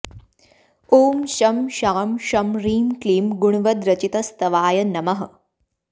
ॐ शं शां षं ह्रीं क्लीं गुणवद्रचितस्तवाय नमः